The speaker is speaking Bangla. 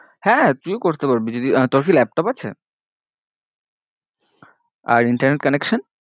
হ্যাঁ তুইও করতে পারবি যদি আহ তোর কি laptop আছে? আর internet connection?